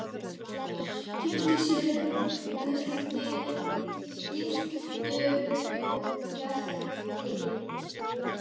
Keypti sér gyltur og gelti.